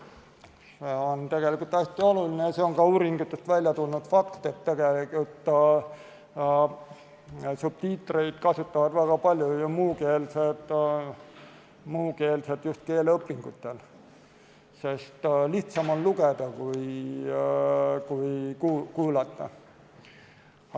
See on tegelikult hästi oluline ja see on ka uuringutest välja tulnud fakt, et subtiitreid kasutavad muukeelsed väga palju just keeleõpingutel, sest lihtsam on lugeda kui kuulata.